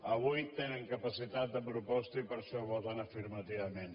avui tenen capacitat de proposta i per això hi voten afirmativament